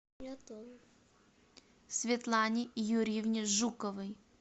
светлане юрьевне жуковой